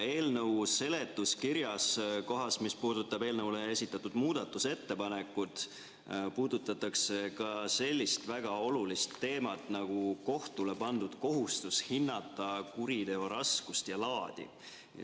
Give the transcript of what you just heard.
Eelnõu seletuskirjas, kohas, mis puudutab eelnõu kohta esitatud muudatusettepanekut, puudutatakse ka sellist väga olulist teemat nagu kohtule pandud kohustus hinnata kuriteo raskust ja laadi.